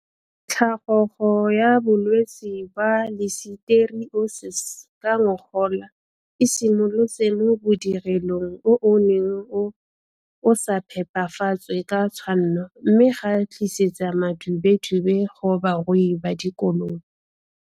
Tlhagogo ya bolwetse ba liseteriosese ka ngogola e simolotse mo bodirelong o o neng o o sa phepafatswe ka tshwanno mme ga tlisetsa madubedube go barui ba dikolobe.